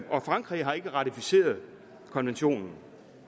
og frankrig har ikke ratificeret konventionen